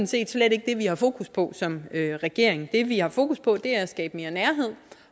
set slet ikke det vi har fokus på som regering det vi har fokus på er at skabe mere nærhed